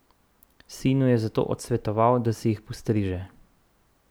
Sinu je zato odsvetoval, da si jih postriže.